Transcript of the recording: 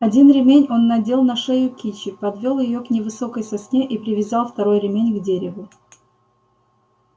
один ремень он надел на шею кичи подвёл её к невысокой сосне и привязал второй ремень к дереву